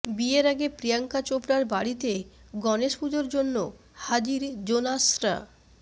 বিয়ের আগে প্রিয়াঙ্কা চোপড়ার বাড়িতে গণেশ পুজোর জন্য হাজির জোনাসরা